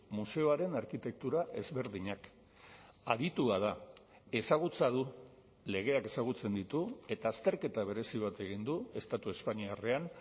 museoaren arkitektura ezberdinak aditua da ezagutza du legeak ezagutzen ditu eta azterketa berezi bat egin du estatu espainiarrean